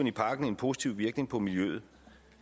i pakken en positiv virkning på miljøet